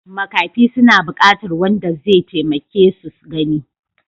Makafi suna buƙatar wanda zai taimake su gani.